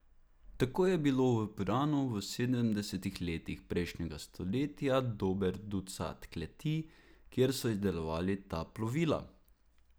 Tako je bilo v Piranu v sedemdesetih letih prejšnjega stoletja dober ducat kleti, kjer so izdelovali ta plovila.